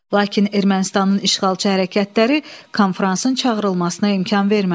Lakin Ermənistanın işğalçı hərəkətləri konfransın çağırılmasına imkan vermədi.